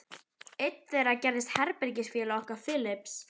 Einn þeirra gerðist herbergisfélagi okkar Philips.